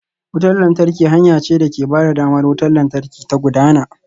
Wutar lantarki hanya ce da ke ba da damar wutar lantarki ta gudana.